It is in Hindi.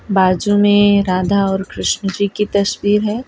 बाजू में राधा और कृष्ण जी की तस्वीर है।